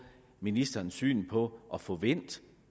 ministerens syn på at få vendt